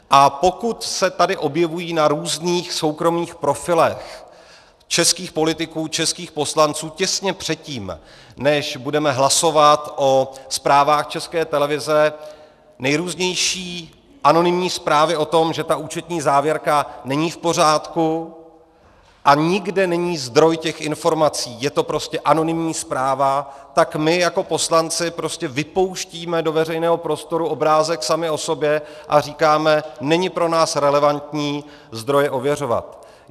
A pokud se tady objevují na různých soukromých profilech českých politiků, českých poslanců těsně předtím, než budeme hlasovat o zprávách České televize nejrůznější anonymní zprávy o tom, že ta účetní závěrka není v pořádku, a nikde není zdroj těch informací, je to prostě anonymní zpráva, tak my jako poslanci prostě vypouštíme do veřejného prostoru obrázek sami o sobě a říkáme: není pro nás relevantní zdroje ověřovat.